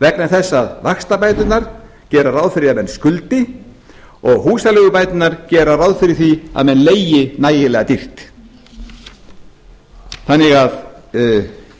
vegna þess að vaxtabæturnar gera ráð fyrir því að menn skuldi og húsaleigubæturnar gera ráð fyrir því að menn leigi nægilega dýrt